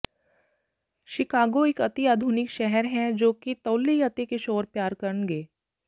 Chicago ਇੱਕ ਅਤਿ ਆਧੁਨਿਕ ਸ਼ਹਿਰ ਹੈ ਜੋ ਕਿ ਤੌਹਲੀ ਅਤੇ ਕਿਸ਼ੋਰ ਪਿਆਰ ਕਰਨਗੇ